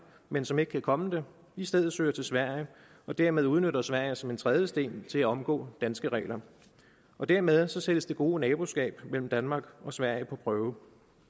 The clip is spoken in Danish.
men som ikke kan komme det i stedet søger til sverige og dermed udnytter sverige som en trædesten til at omgå danske regler dermed sættes det gode naboskab mellem danmark og sverige på prøve